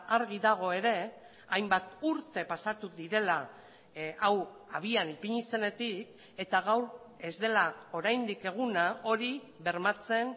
argi dago ere hainbat urte pasatu direla hau abian ipini zenetik eta gaur ez dela oraindik eguna hori bermatzen